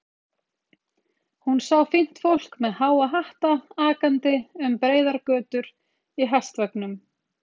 Hún sá fínt fólk með háa hatta akandi um breiðar götur í hestvögnum.